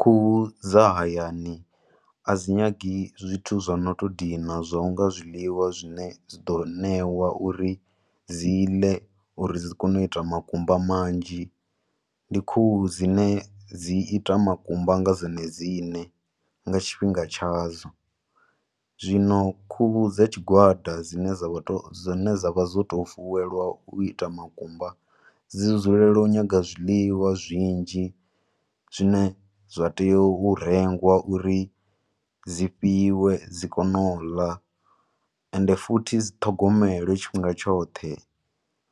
Khuhu dza hayani, a dzi nyagi zwithu zwo no to dina zwo unga zwiḽiwa zwine dzi ḓo ṋewa uri dzi ḽe uri dzi kone u ita makumba manzhi. Ndi khuhu dzine dzi ita makumba nga dzone dzine, nga tshifhinga tshadzo. Zwino khuhu dza tshigwada dzine dza vha to, dzine dza vha dzo to fuwelwa u ita makumba, dzi dzulela u nyaga zwiḽiwa zwinzhi zwine zwa teya u rengwa uri ri dzi fhiwe, dzi kone u ḽa, ende futhi dzi ṱhogomelwe tshifhinga tshoṱhe.